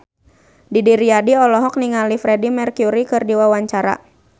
Didi Riyadi olohok ningali Freedie Mercury keur diwawancara